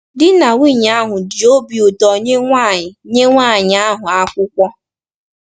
Di na nwunye ahụ ji obi ụtọ nye nwanyị nye nwanyị ahụ akwụkwọ.